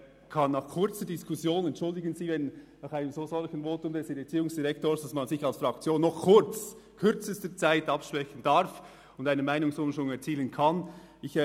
Entschuldigen Sie, aber dieses Votum des Erziehungsdirektors hat in kürzester Zeit einen Meinungsumschwung innerhalb unserer Fraktion bewirkt.